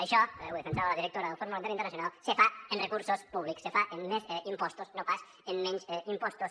això ho defensava la directora del fons monetari internacional se fa amb recursos públics se fa amb més impostos no pas amb menys impostos